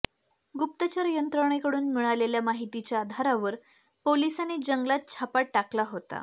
गुप्तचर यंत्रणेकडून मिळालेल्या माहितीच्या आधारावर पोलिसांनी जंगलात छापा टाकला होता